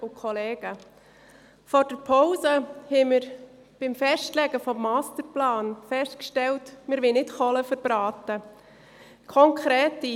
Vor der Pause haben wir beim Festlegen des Masterplans festgestellt, dass wir keine «Kohlen verbraten» wollen.